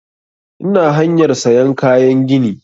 Ina hanyar sayan kayan gini